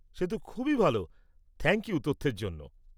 সে তো খুবই ভাল। থ্যাংক ইউ তথ্যের জন্য।